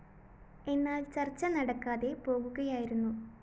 എന്നാല്‍ ചര്‍ച്ച നടക്കാതെ പോകുകയായിരുന്നു